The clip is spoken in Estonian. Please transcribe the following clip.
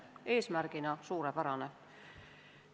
Eesmärgina on see suurepärane.